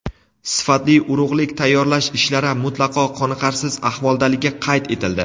sifatli urug‘lik tayyorlash ishlari mutlaqo qoniqarsiz ahvoldaligi qayd etildi.